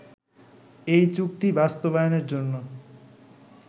এই চুক্তি বাস্তবায়নের জন্য